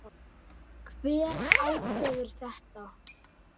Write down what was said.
Hver ákveður þetta?